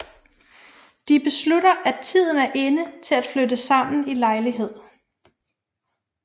De beslutter at tiden er inde til at flytte sammen i lejlighed